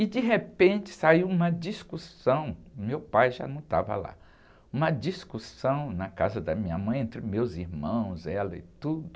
E de repente saiu uma discussão, o meu pai já não estava lá, uma discussão na casa da minha mãe entre meus irmãos, ela e tudo,